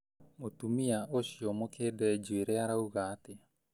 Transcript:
Mũtumia ũcio mũkĩnde njuĩrĩ arauga atĩa